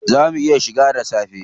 Zaa mu iya shiga da safe?